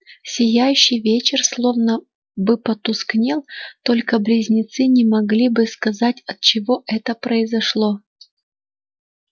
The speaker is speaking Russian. сияющий вечер словно бы потускнел только близнецы не могли бы сказать отчего это произошло